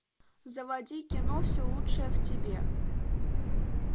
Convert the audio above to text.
заводи кино все лучшее в тебе